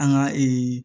An ka